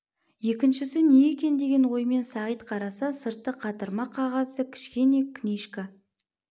екіншісі не екен деген оймен сағит қараса сырты қатырма қағазды кішкене книжка